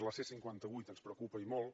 la c cinquanta vuit ens preocupa i molt